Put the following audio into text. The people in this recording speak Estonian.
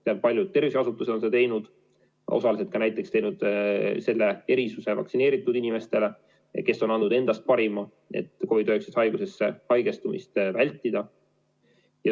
Tean, et paljud tervishoiuasutused on osaliselt teinud selle erisuse vaktsineeritud inimestele, kes on andnud endast parima, et COVID-19 haigusesse haigestumist vältida.